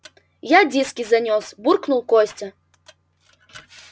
я диски занёс буркнул костя